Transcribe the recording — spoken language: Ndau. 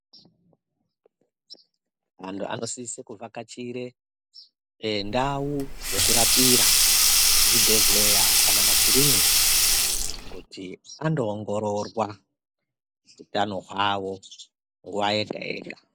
Antu anosise kuvhakachire ndau dzekurapira zvibhehleya kana makiriniki kuti andoongororwa hutano hwawo nguwa yega yega